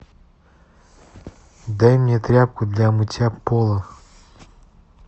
дай мне тряпку для мытья пола